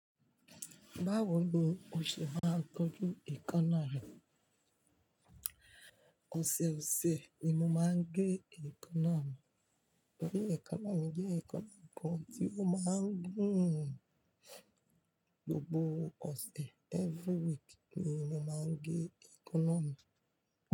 Báwo ni o ṣe máa ń tọ́jú eékánná re? Òṣèòṣè ni mo máa ń gé èékánná mi torí eekanna mi jẹ́ eekanna kan tí ó máa ń gùn gbogbo ọ̀sẹ̀. Every week ni mo máa ń gé economy.